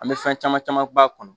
An bɛ fɛn caman caman b'a kɔnɔ